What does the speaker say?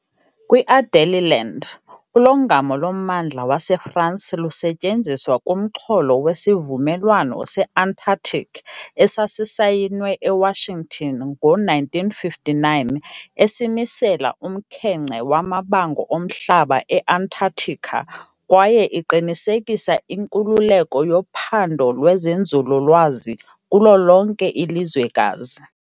Kwi -Adélie Land, ulongamo lommandla waseFransi lusetyenziswa kumxholo weSivumelwano se-Antarctic esasayinwe eWashington ngo -1959 esimisela "umkhenkce" wamabango omhlaba e-Antarctica kwaye iqinisekisa inkululeko yophando lwezenzululwazi kulo lonke ilizwekazi.